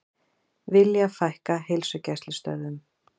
Vilja fækka heilsugæslustöðvum